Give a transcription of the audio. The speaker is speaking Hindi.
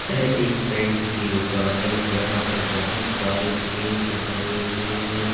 यह एक पेंट की दुकान है जहां पर बहुत सारे पेंट धरे हुए है।